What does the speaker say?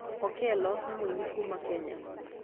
Okello nĩ mũini kuuma Kenya.